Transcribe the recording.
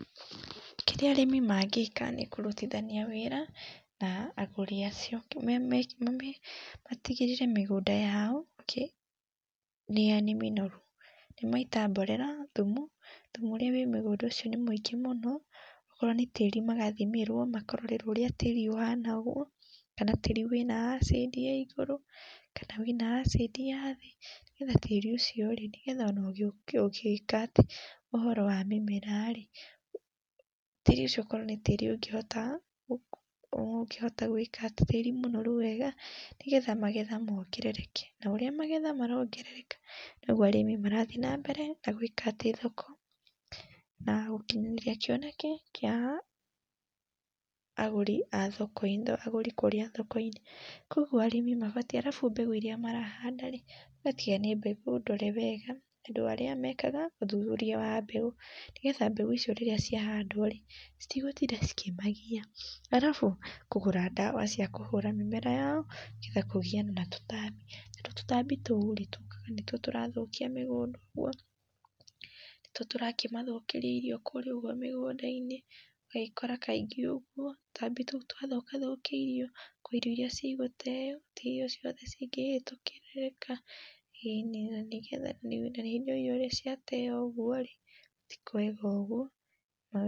Kĩrĩa arĩmi mangĩka nĩ kũrũtithania wĩra na agũrĩ acio, matigĩrĩre mĩgũnda yao nĩ mĩnoru, nĩmaita mborera, thumu ,thumu ũrĩa wĩ mũgũnda ũcio nĩ mũingĩ mũno, okorwo nĩ tĩrĩ magathimĩrwo makarorerwo ũrĩa tĩrĩ ũhana ũguo, kana tĩrĩ wĩna acindi ya iguru kana wĩna acindi ya thĩ, nĩgetha tĩrĩ ũcio nĩgetha ona ũgĩka atĩ ũhoro wa mĩmera tĩrĩ ũcio ũkorwo nĩ tĩrĩ ũngĩhota, ũgũkihota gwĩka atĩ tĩri mũnoru wega, nĩgetha magetha mongerereke na ũrĩa magetha marongerereka, nogwo arĩmĩ marathiĩ na mbere na gwĩka atĩ, thoko na gũkinyanĩria kĩoneki kia agũri a thoko ĩno, agũrĩ kũma kũrĩa thoko-inĩ, kwa ũguo arĩmĩ mabatiĩ, arabu mbegu iria marahanda rĩ, magatiga nĩ mbegũ ndore wega nĩ andũ arĩa mekaga ũthũthũria wa mbeũ, nĩgetha mbeũ icio rĩrĩa ciahandwo rĩ, citigũtinda cikĩmagia arabu kũgũra ndawa cia kũhũra mĩmera yao nĩgetha kũgiana na tũtambi , tũtambi tũũ tũkaga nĩtwo tũrathũkia mĩgũnda ũguo, nĩtwo tũrakĩmathũkirĩa irio kũrĩa ũguo mĩgũnda-inĩ ũgagĩkora kaĩngĩ ũguo tũtambi tũu nĩtwathũka thũkia irio, kwĩ irio iria cigũteyo ti irio ciothe cingĩrĩka, na rĩrĩa irio ciateyo ũguo ti kwega ũguo.